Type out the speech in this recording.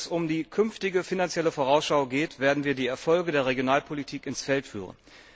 Wenn es um die künftige finanzielle Vorausschau geht, werden wir die Erfolge der Regionalpolitik ins Feld führen.